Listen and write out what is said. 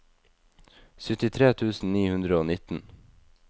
syttitre tusen ni hundre og nitten